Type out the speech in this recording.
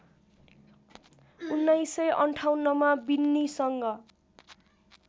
१९५८ मा विन्नीसँग